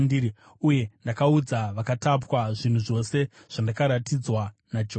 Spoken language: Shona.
uye ndakaudza vakatapwa zvinhu zvose zvandakaratidzwa naJehovha.